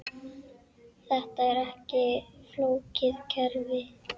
Þetta er ekki flókið kerfi.